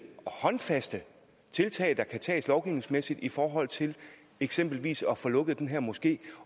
håndfaste tiltag der kan tages lovgivningsmæssigt i forhold til eksempelvis at få lukket den her moské